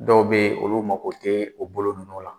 Dɔw bɛyen olu mago tɛ o bolo ninnu la